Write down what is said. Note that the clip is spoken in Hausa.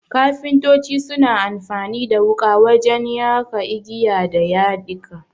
Kafintoci suna amfani da wuƙa wajen ya ka igiya da yadika.